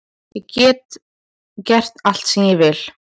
Ég get gert allt sem ég vil